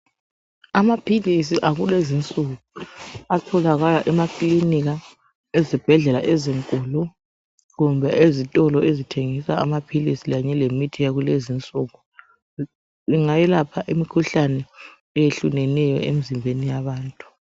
Amaphilisi akulezinsuku atholakala emaklinika, ezibhedlela ezinkulu kumbe ezitolo ezithengisa amaphilisi kanye lemithi yakulezinsuku angayelapha imikhuhlane eyehlukeneyo emizimbeni yabantu.